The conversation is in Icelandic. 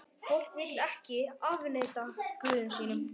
Fólkið vill ekki afneita guðum sínum.